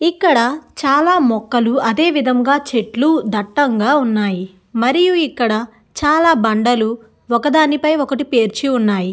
ఇక్కడ చాలా మొక్కలు అదే విధముగా చెట్లు దట్టంగా ఉన్నాయి మరియు ఇక్కడ చాలా దండాలు ఒకదాని పై ఒకటి పేర్చి ఉన్నాయి.